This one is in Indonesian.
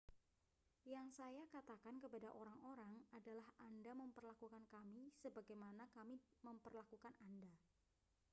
yang saya katakan kepada orang-orang adalah anda memperlakukan kami sebagaimana kami memperlakukan anda